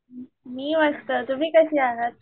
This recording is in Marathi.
मी मस्त तुम्ही कसे आहात?